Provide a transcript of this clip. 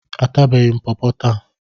Atabeghị m pọpọ taa.